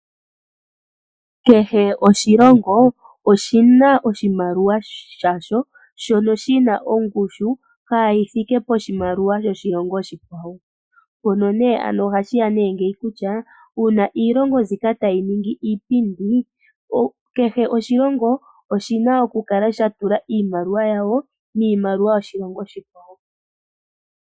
Kehe oshilongo oshina oshimaliwa shasho shono shina ongushu kaayithike poshi maliwa shoshilongo oshikwawo mpono nee ano ohashiya nee ngeyi kutya uuna iilongo mbika tayiningi iipindi kehe oshilongo oshana okukala shatula iimaliwa yawo miimaliwa yoshilongo oshikwawo.